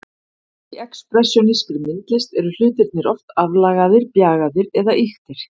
Í expressjónískri myndlist eru hlutirnir oft aflagaðir, bjagaðir eða ýktir.